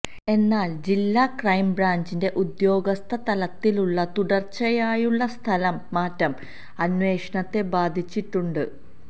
എന്നാൽ ജില്ലാ ക്രൈം ബ്രാഞ്ചിന്റെ ഉദ്യോഗസ്ഥതലത്തിലുള്ള തുടർച്ചായായുള്ള സ്ഥലം മാറ്റം അന്വേഷണത്തെ ബാധിച്ചിട്ടുണ്ട്